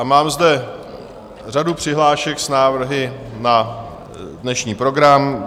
A mám zde řadu přihlášek s návrhy na dnešní program.